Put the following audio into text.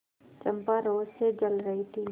चंपा रोष से जल रही थी